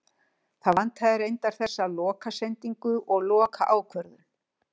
Það vantaði reyndar þessa loka sendingu og loka ákvörðun.